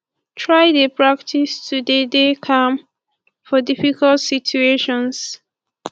try de practice to de dey calm for difficult situations